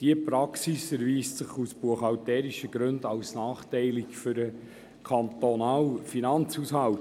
Diese Praxis erweist sich aus buchhalterischen Gründen als nachteilig für den kantonalen Finanzhaushalt.